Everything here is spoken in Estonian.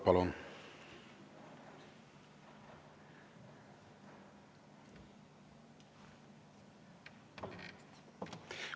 Palun!